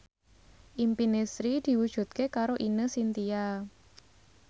impine Sri diwujudke karo Ine Shintya